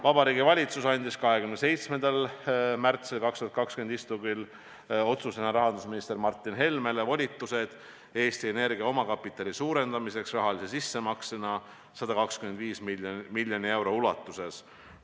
" Vabariigi Valitsus andis 27. märtsil 2020 toimunud istungil tehtud otsusega rahandusminister Martin Helmele volitused suurendada Eesti Energia omakapitali rahalise sissemaksega 125 miljoni euro ulatuses.